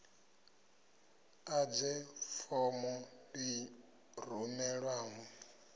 ḓadze form b i rumelwaho